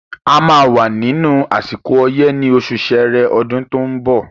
A máa wà nínú àsìkò ọyẹ́ ní osù sẹrẹ ọdún tó ń bọ̀